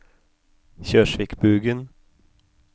Kjørsvikbugen